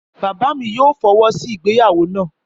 Bàbá mi yóò fi ọwọ sí ìgbéyàwó na